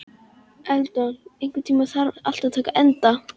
Eldon, einhvern tímann þarf allt að taka enda.